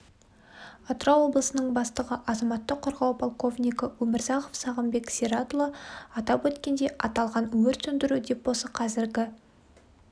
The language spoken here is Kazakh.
атырау облысының бастығы азаматтық қорғау полковнигі өмірзахов сағынбек сиратұлы атап өткендей аталған өрт сөндіру депосы қазіргі